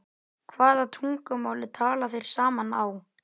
Hvaða tungumáli tala þeir saman á?